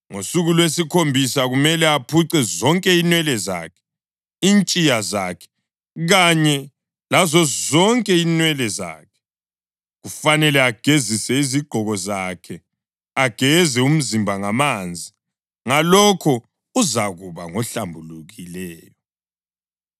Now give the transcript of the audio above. Ngosuku lwesikhombisa kumele aphuce zonke inwele zakhe, intshiya zakhe kanye lazozonke inwele zakhe. Kufanele agezise izigqoko zakhe, ageze umzimba ngamanzi; ngalokho uzakuba ngohlambulukileyo.